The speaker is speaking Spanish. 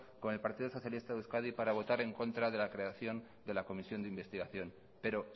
con el partido socialista de euskadi para votar en contra de la creación de la comisión de investigación pero